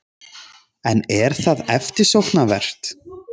En er það eftirsóknarvert?